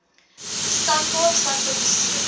stad kaapstad publiseer